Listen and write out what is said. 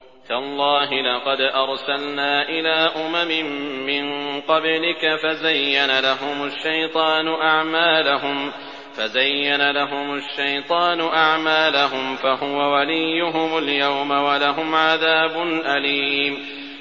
تَاللَّهِ لَقَدْ أَرْسَلْنَا إِلَىٰ أُمَمٍ مِّن قَبْلِكَ فَزَيَّنَ لَهُمُ الشَّيْطَانُ أَعْمَالَهُمْ فَهُوَ وَلِيُّهُمُ الْيَوْمَ وَلَهُمْ عَذَابٌ أَلِيمٌ